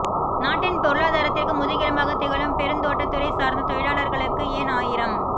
நாட்டின் பொருளாதாரத்திற்கு முதுகெலும்பாக திகழும் பெருந்தோட்டதுறை சார்ந்த தொழிலாளர்களுக்கு ஏன் ஆயிரம்